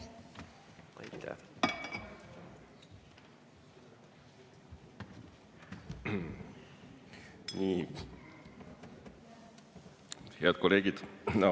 Head kolleegid!